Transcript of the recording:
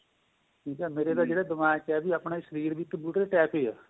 ਮੇਰੇ ਤਾਂ ਜਿਹੜੇ ਦਿਮਾਗ਼ ਵਿੱਚ ਆਇਆਂ ਆਪਣਾ ਸ਼ਰੀਰ ਵੀ ਇੱਕ computer type ਹੀ ਏ